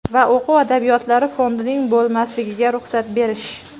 va o‘quv adabiyotlari fondining bo‘lmasligiga ruxsat berish.